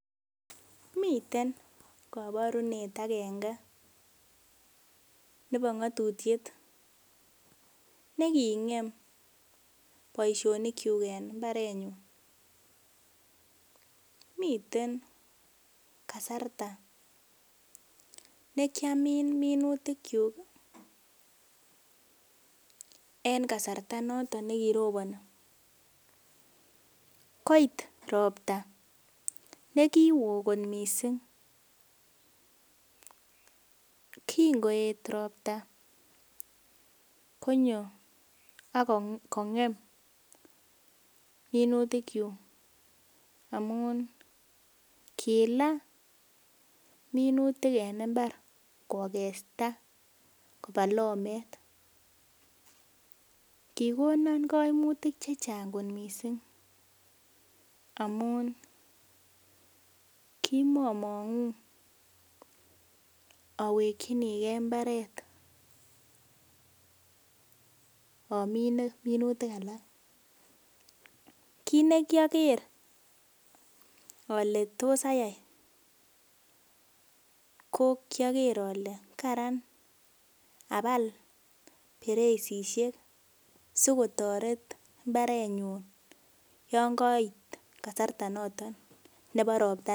Miten kaborunet agenge nebo ng'atutiet neging'em boisionikyuk en mbarenyun, miten kasarta nekiamin minutikyuk en kasarta noton nekiroponi, koit ropta ne kiwoo kot missing, kingoet ropta konyo akongem minutikyuk amun kilaa minutik en mbar kokesta kopaa lomet kikonon koimutik chechang kot missing amun kimomong'uu awekyinigee mbaret amine minutik alak kit nekiaker ale tos ayai ko kiaker ale karan abal bereisiek sikotoret mbarenyun yangait kasarta noton ne bo roptaa.